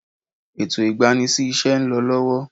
Ètò igbani sí ise ń lọ lọ́wọ́.